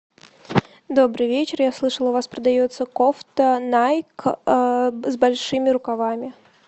добрый вечер я слышала у вас продается кофта найк с большими рукавами